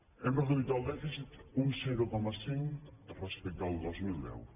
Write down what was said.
hem reduït el dèficit un zero coma cinc respecte al dos mil deu